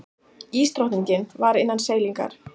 Ísdrottningin var innan seilingar.